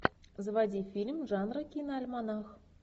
заводи фильм жанра киноальманах